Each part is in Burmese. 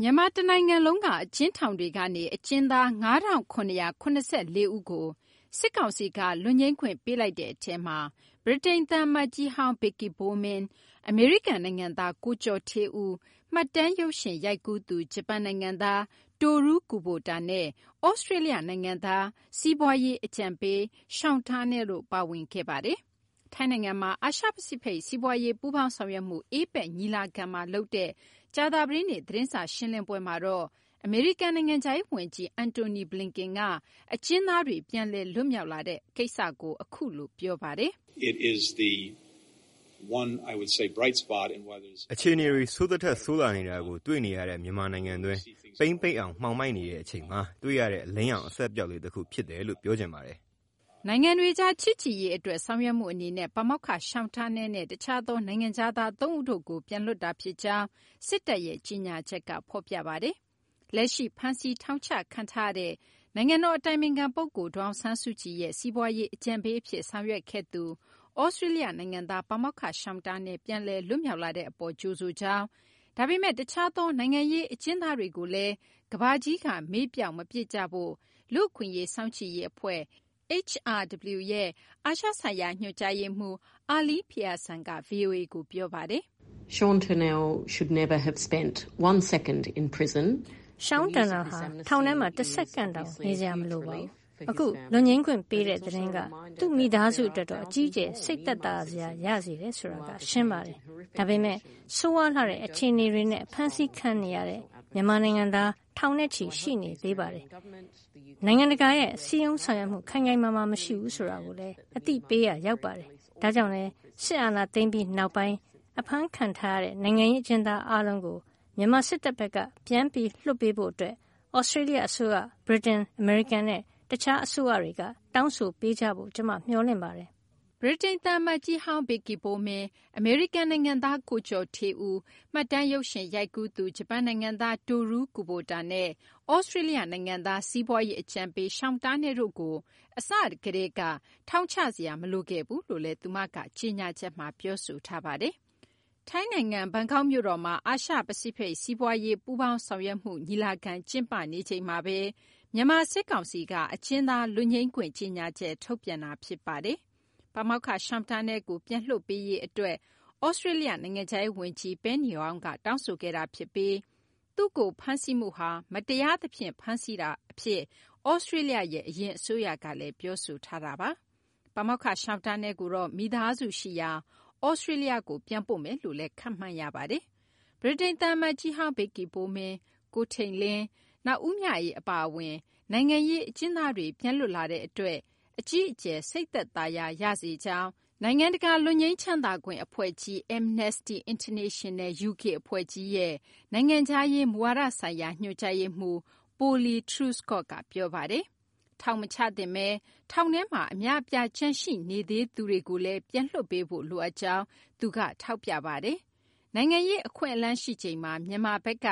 မြန်မာတနိုင်ငံလုံးက အကျဉ်းထောင်တွေကနေ အကျဉ်းသား ၅,၇၇၄ ဦးကို စစ်ကောင်စီက လွတ်ငြိမ်းခွင့်ပေးလိုက်တဲ့ အထဲမှာ ဗြိတိန် သံအမတ်ကြီးဟောင်း Vicky Bowman, အမေရိကန် နိုင်ငံသား ကိုကျော်ဌေးဦး, မှတ်တမ်းရုပ်ရှင် ရိုက်ကူးသူ ဂျပန် နိုင်ငံသား Toru Kubota နဲ့ သြစတြေးလျ နိုင်ငံသား စီးပွားရေး အကြံပေး Sean Turnell တို့လည်း ပါဝင်ခဲ့တာ ဖြစ်ပါတယ်။ ထိုင်းနိုင်ငံမှာ အာရှ ပစိဖိတ် စီးပွားရေး ပူးပေါင်းဆောင်ရွက်မှု APEC ညီလာခံမှာ လုပ်တဲ့ ကြာသပတေးနေ့ သတင်းစာ ရှင်းလင်းပွဲမှာတော့ အမေရိကန် နိုင်ငံခြားရေး ဝန်ကြီး Antony Blinken ကတော့ အကျဉ်းသားတွေ ပြန်လည် လွတ်မြောက်လာတဲ့ အပေါ် အခုလို ပြောပါတယ်။ "အခြေအနေတွေ ဆိုးသထက် ဆိုးလာနေတာကို တွေ့နေရတဲ့ မြန်မာနိုင်ငံတွင်း ပိန်းပိတ်အောင် မှောင်မိုက်နေချိန်မှာ တွေ့ရတဲ့ အလင်းရောင် အစက်အပျောက်လေး တခု ဖြစ်တယ်လို"့ ပြောချင်ပါတယ်။ နိုင်ငံတွေကြား ချစ်ကြည်ရေး အတွက် ဆောင်ရွက်မှု အနေနဲ့ ပါမောက္ခ Sean Turnell နဲ့ တခြားသော နိုင်ငံခြားသား သုံးဦးတို့ကို ပြန်လွှတ်တာ ဖြစ်ကြောင်း စစ်တပ်ရဲ့ ကြေညာချက်က ဖော်ပြပါတယ်။ လက်ရှိ ဖမ်းဆီး ထောင်ချ ခံထားရတဲ့ နိုင်ငံတော် အတိုင်ပင်ခံ ပုဂ္ဂိုလ် ဒေါ်အောင်ဆန်းစုကြည်ရဲ့ စီးပွားရေး အကြံပေးအဖြစ် ဆောင်ရွက်ခဲ့သူ သြစတြေးလျ နိုင်ငံသား ပါမောက္ခ Sean Turnell ပြန်လည် လွတ်မြောက်လာတဲ့ အပေါ် ကြိုဆိုကြောင်း၊ ဒါပေမယ့် တခြားသော နိုင်ငံရေး အကျဉ်းသားတွေကိုလည်း ကမ ္ဘာကြီးက မေ့ပျောက်မပစ်ကြဖို့ လူ့အခွင့်အရေး စောင့်ကြည့်ရေး အဖွဲ့ HRW ရဲ့ အာရှ ဆိုင်ရာ ညွှန်ကြားရေးမှူး Elaine Pearson က ဗွီအိုအေကို ပြောပါတယ်။ " Sean Turnell ဟာ ထောင်ထဲမှာ တစက္ကန့်တောင် နေစရာ မလိုခဲ့ပါဘူး။ အခု လွတ်ငြိမ်းခွင့် ပေးတဲ့ သတင်းက သူ့မိသားစု အတွက်တော့ အကြီးအကျယ် စိတ်သက်သာရာ ရစေတယ်ဆိုတာက ရှင်းပါတယ်။ ဒါပေမယ့် ဆိုးရွားလှတဲ့ အခြေအနေတွေနဲ့ ဖမ်းဆီးခံထားရတဲ့ မြန်မာနိုင်ငံသား ထောင်ချီ ရှိနေသေးပြီး နိုင်ငံတကာရဲ့ ခိုင်ခိုင်မာမာ စည်းရုံးဆောင်ရွက်မှု မရှိဘူးဆိုတာကိုလည်း အသိပေးရာ ရောက်ပါတယ်။ ဒါကြောင့်လည်း စစ်အာဏာသိမ်းပြီးနောက်ပိုင်း ဖမ်းခံထားရတဲ့ နိုင်ငံရေး အကျဉ်းသား အားလုံးကို မြန်မာ စစ်တပ်ဘက်က ပြန်လွှတ်ပေးဖို့ အတွက် သြစတြေးလျ အစိုးရ၊ ဗြိတိန်၊ အမေရိကန်နဲ့ တခြားသော အစိုးရတွေက တောင်းဆိုပေးကြဖို့ ကျမ မျှော်လင့်ပါတယ်" ဗြိတိန် သံအမတ်ကြီးဟောင်း Vicky Bowman, အမေရိကန် နိုင်ငံသား ကိုကျော်ဌေးဦး, မှတ်တမ်းရုပ်ရှင် ရိုက်ကူးသူ ဂျပန် နိုင်ငံသား Toru Kubota နဲ့ သြစတြေးလျ နိုင်ငံသား စီးပွားရေး အကြံပေး Sean Turnell တို့ကို အစကတည်းက ထောင်ချစရာ မလိုခဲ့ဘူးလို့လည်း သူမက ကြေညာချက်မှာ ပြောဆိုထားပါတယ်။ ထိုင်းနိုင်ငံ ဘန်ကောက် မြို့တော်မှာ အာရှ- ပစိဖိတ် စီးပွားရေး ပူးပေါင်းဆောင်ရွက်မှု ညီလာခံမှာ ကျင်းပတဲ့ ညနေပိုင်းမှာဘဲ မြန်မာ စစ်ကောင်စီက အကျဉ်းသား လွတ်ငြိမ်းခွင့် ကြေညာချက် ထုတ်ပြန်တာ ဖြစ်ပါတယ်။ ပါမောက္ခ Sean Turnell ကို ပြန်လွှတ်ပေးရေး အတွက် သြစတြေးလျ နိုင်ငံခြားရေး ဝန်ကြီး Penny Wong က တောင်းဆိုခဲ့တာ ဖြစ်ပြီး သူ့ကို ဖမ်းဆီးမှုဟာ တရားသဖြင့် ဖမ်းဆီးမှု အဖြစ် သြစတြေးလျရဲ့ အရင် အစိုးရက ပြောဆိုခဲ့တာပါ။ ပါမောက္ခ Sean Turnell ကိုတော့ မိသားစု ရှိရာ သြစတြေးလျကို ပြန်ပို့မယ်လို့လည်း ခန့်မှန်းရပါတယ်။ ဗြိတိန် သံအမတ်ကြီးဟောင်း Vicky Bowman၊ ကိုထိန်လင်း၊ နောက် ဦးမြအေး အပါအဝင် နိုင်ငံရေး အကျဉ်းသားတွေ ပြန်လွတ်လာတဲ့ အတွက် အကြီးအကျယ် စိတ်သက်သာရာ ရစေကြောင်း နိုင်ငံတကာ လွတ်ငြိမ်းချမ်းသာခွင့် အဖွဲ့ကြီး Amnesty International UK အဖွဲ့ကြီးရဲ့ နိုင်ငံခြားရေး မူဝါဒဆိုင်ရာ ညွှန်ကြားရေးမှူး Polly Truscott က ပြောပါတယ်။ ထောင်မချသင့်သူတွေ ထောင်ထဲမှာ အများအပြား ကျန်ရှိနေသေးသူတွေကိုလည်း ပြန်လွှတ်ပေးဖို့ လိုအပ်ကြောင်းလည်း သူက ထောက်ပြပါတယ်။ နိုင်ငံရေး အခွင့်အလမ်း ရှိချိန်မှာ မြန်မာဘက်က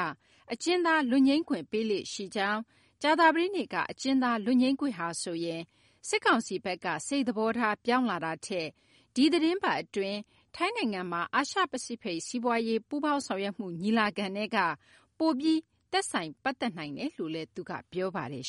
အကျဉ်းသား လွတ်ငြိမ်းခွင့်ပေးလေ့ ရှိကြောင်း၊ ကြာသပတေးနေ့က အကျဉ်းသား လွတ်ငြိမ်းခွင့်ဟာဆိုရင် စစ်ကောင်စီဘက်က စိတ်သဘောထား ပြောင်းလာတာထက် ဒီသီတင်းပတ် အတွင်း ထိုင်းနိုင်ငံမှာ အာရှ ပစိဖိတ် စီးပွားရေး ပူးပေါင်းဆောင်ရွက်မှု ညီလာခံနဲ့က ပိုပြီး သက်ဆိုင် ပတ်သက်နိုင်တယ်လို့လည်း သူက ပြောပါတယ်